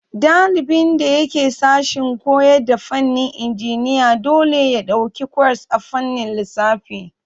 Ɗalibin da yake sashen koyarda fannin injiniya dole ya ɗauki kwas a fannin lissafi.